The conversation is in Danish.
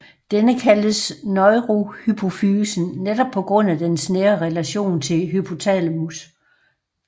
Denne kaldes neurohypofysen netop på grund af dens nære relation til hypothalamus